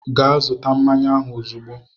Gaa zụta mmanya ahụ ozugbo!